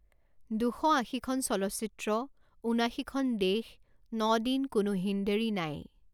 দুশ আশীখন চলচ্চিত্ৰ, ঊনাশীখন দেশ, ন দিন, কোনো হীনডেঢ়ি নাই!